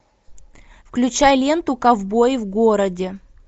включай ленту ковбой в городе